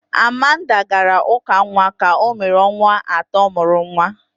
Amanda had her baby's dedication three months after his birth.